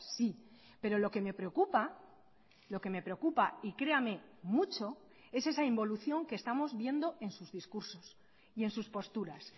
sí pero lo que me preocupa lo que me preocupa y créame mucho es esa involución que estamos viendo en sus discursos y en sus posturas